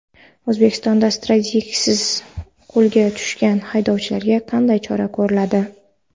O‘zbekistonda stikersiz qo‘lga tushgan haydovchilarga qanday chora ko‘riladi?.